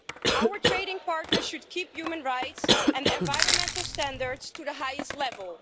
Our trading partners should keep human rights and environmental standards to the highest level.